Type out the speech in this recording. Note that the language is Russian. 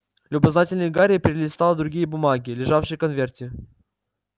любознательный гарри перелистал другие бумаги лежавшие в конверте